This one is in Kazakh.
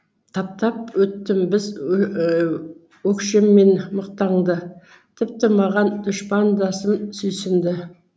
таптап өттім біз өкшеммен мықтаңды тіпті маған дұшпандасым сүйсінді